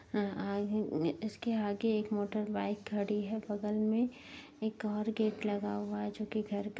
इसके आगे एक मोटरबाइक खड़ी है बगल में एक और गेट लगा हुआ है जो कि घर का --